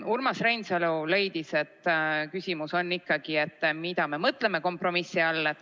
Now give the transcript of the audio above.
Urmas Reinsalu leidis, et küsimus on, mida me mõtleme kompromissi all.